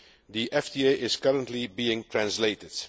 The FTA is currently being translated.